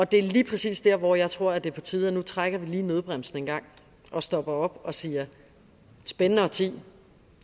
det er lige præcis der hvor jeg tror det er på tide at trækker nødbremsen og stopper op og siger spændende årti